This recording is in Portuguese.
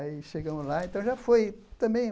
Aí chegamos lá, então já foi também...